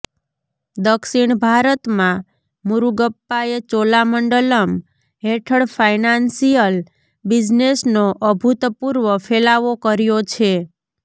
દક્ષિણ ભારતમાં મુરુગપ્પાએ ચોલામંડલમ્ હેઠળ ફાઇનાન્શિયલ બિઝનેસનો અભૂતપૂર્વ ફેલાવો કર્યો છે